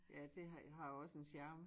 Ja det har har også en charme